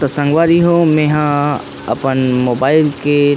तो संगवारी हो में हा अपन मोबाइल के